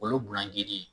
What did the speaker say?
Olu ye bulanji ye